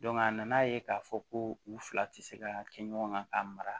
a nana ye k'a fɔ ko u fila tɛ se ka kɛ ɲɔgɔn kan k'a mara